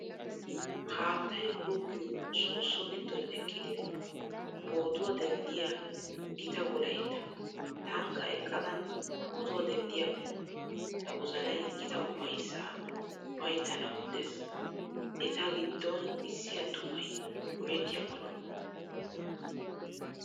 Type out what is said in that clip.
Haattayi goggiyoo soosso giddon eqqidi footuwaa denddiyaa gita Wolayitta tankka eqqada footuwaa denddiyaakko tawozanayii gita ufayssaa ufayittanawu de'ees. Etagiddon issi attumayi gujettiyaakko lo'o.